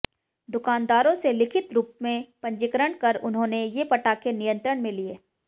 दुकानदारोंसे लिखित रूपमें पंजीकरण कर उन्होंने ये पटाखे नियंत्रणमें लिए